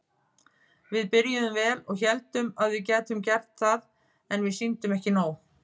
Við byrjuðum vel og héldum að við gætum gert það en við sýndum ekki nóg.